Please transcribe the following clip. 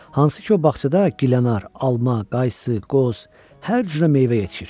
Hansı ki, o bağçada gilənar, alma, qaysı, qoz, hər cürə meyvə yetişir.